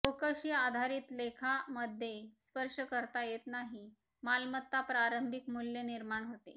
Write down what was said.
चौकशी आधारित लेखा मध्ये स्पर्श करता येत नाही मालमत्ता प्रारंभिक मुल्य निर्माण होते